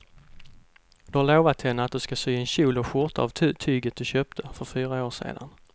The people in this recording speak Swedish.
Du har lovat henne att du ska sy en kjol och skjorta av tyget du köpte för fyra år sedan.